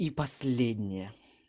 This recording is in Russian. и последняя